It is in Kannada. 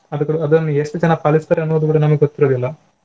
ಅದು ಕೂಡ ಅದನ್ನು ಎಷ್ಟು ಜನ ಪಾಲಿಸ್ತಾರೆ ಅನ್ನುವುದು ಕೂಡ ನಮಗೆ ಗೊತ್ತಿರುವುದಿಲ್ಲ.